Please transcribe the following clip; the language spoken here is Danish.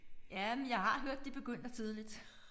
Ja men jeg har hørt de begynder tidligt